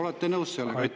Olete nõus sellega?